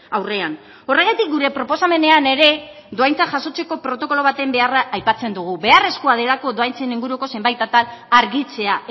aurrean horregatik gure proposamenean ere dohaintzak jasotzeko protokolo baten beharra aipatzen dugu beharrezkoa delako dohaintzen inguruko zenbait atal argitzea